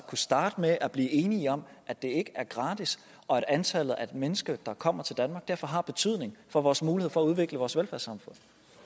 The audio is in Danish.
kunne starte med at blive enige om at det ikke er gratis og at antallet af mennesker der kommer til danmark derfor har betydning for vores mulighed for at udvikle vores velfærdssamfund